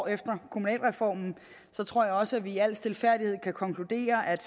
efter kommunalreformen tror jeg også at vi i al stilfærdighed kan konkludere at